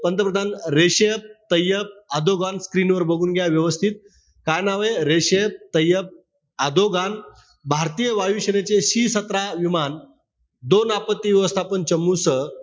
पंतप्रधान Recep Tayyip Erdogan screen वर बघून घ्या व्यवस्थित. काय नावे? Recep Tayyip Erdogan. भारतीय वायू सेनेचे C सतरा विमान, दोन आपत्ती व्यवस्थापन चंबूसह,